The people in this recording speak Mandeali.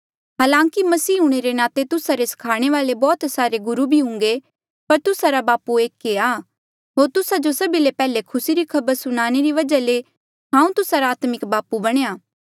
हालांकि मसीह हूंणे रे नाते तुस्सा रे स्खाणे वाले बौह्त सारे गुरु भी हुंगे पर तुस्सा रा बापू एक ऐें आ होर तुस्सा जो सभी ले पैहले खुसी री खबर सुणाणे री वजहा ले हांऊँ तुस्सा रा आत्मिक बापू बणेया